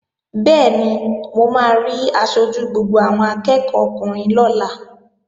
Bẹ́ẹ̀ni, mo máa rí aṣojú gbogbo àwọn akẹ́ẹ̀kọ́ ọkùnrin lọ́la